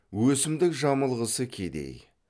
өсімдік жамылғысы кедей